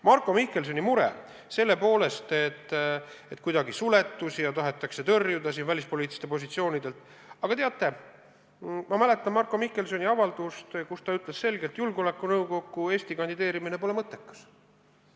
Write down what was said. Marko Mihkelsoni mure seoses suletusega ja sellega, et kedagi tahetakse tõrjuda välispoliitilistelt positsioonidelt – aga teate, ma mäletan Marko Mihkelsoni avaldust, millega ta ütles selgelt, et Eesti kandideerimine julgeolekunõukokku pole mõttekas.